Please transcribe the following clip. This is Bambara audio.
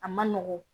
A ma nɔgɔn